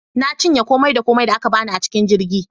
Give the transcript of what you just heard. Na cinye komai da komai da aka bani a cikin jirgin